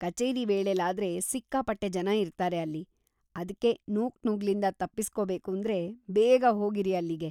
ಕಚೇರಿ ವೇಳೆಲಾದ್ರೆ ಸಿಕ್ಕಾಪಟ್ಟೆ ಜನ ಇರ್ತಾರೆ ಅಲ್ಲಿ, ಅದ್ಕೇ ‌ನೂಕುನುಗ್ಲಿಂದ ತಪ್ಪಿಸ್ಕೋಬೇಕೂಂದ್ರೆ ಬೇಗ ಹೋಗಿರಿ ಅಲ್ಲಿಗೆ.